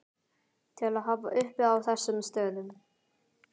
til að hafa uppi á þessum stöðum.